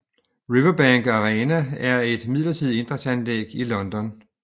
Riverbank Arena er et midlertidigt idrætsanlæg i London